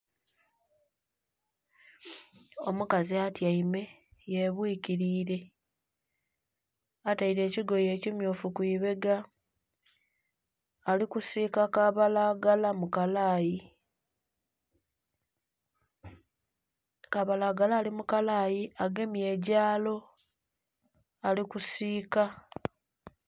Omukazi atyaime yebwikirire ataire ekigoye ekimyufu kwibega alikusika kabalagala mukalayi, kabalagala ali mukalayi egemye egyalo alikusika.